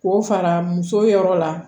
K'o fara muso yɔrɔ la